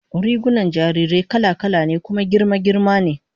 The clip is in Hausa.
Rigunan jarirai kala-kala ne kuma girma girma ne